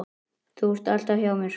Þú ert alltaf hjá mér.